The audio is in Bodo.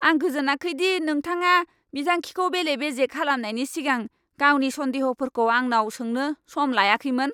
आं गोजोनाखै दि नोंथाङा बिथांखिखौ बेले बेजे खालामनायनि सिगां गावनि सन्देह'फोरखौ आंनाव सोंनो सम लायाखैमोन।